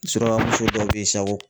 Suraka muso dɔw be yen sa ko